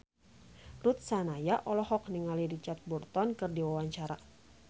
Ruth Sahanaya olohok ningali Richard Burton keur diwawancara